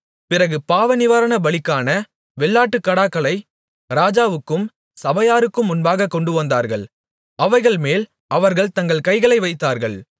பிறகு பாவநிவாரண பலிக்கான வெள்ளாட்டுக்கடாக்களை ராஜாவுக்கும் சபையாருக்கும் முன்பாகக் கொண்டுவந்தார்கள் அவைகள்மேல் அவர்கள் தங்கள் கைகளை வைத்தார்கள்